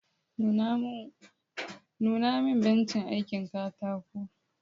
Nuna min bencin aikin katako